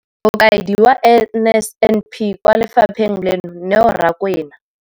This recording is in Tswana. Mokaedi wa NSNP kwa lefapheng leno, Neo Rakwena,